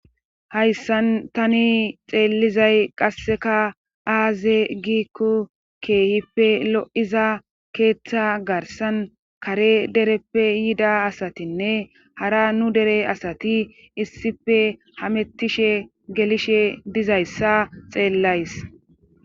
hayssan tani xeellizay qasseka aaze giikko keehippe lo7iza keeththa garsan kare dereppe yida asatinne hara nu dere asati issife hamettishe gelishe dizayssa xeellays